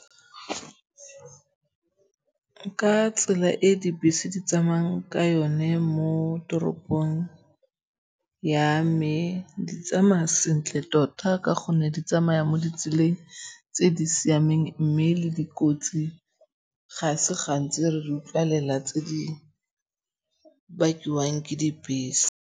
Ka tsela e dibese di tsamayang ka yone mo toropong ya me, di tsamaya sentle tota ka gonne di tsamaya mo ditseleng tse di siameng mme le dikotsi ga se gantsi re di utlwalela tse di bakiwang ke dibese.